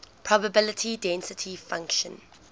probability density function